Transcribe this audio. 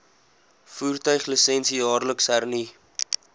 voertuiglisensie jaarliks hernu